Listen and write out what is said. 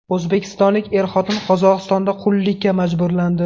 O‘zbekistonlik er-xotin Qozog‘istonda qullikka majburlandi .